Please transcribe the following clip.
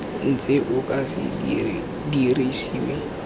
ntse o ka se dirisiwe